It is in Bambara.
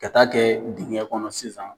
Ka taa kɛ dingɛ kɔnɔ sisan.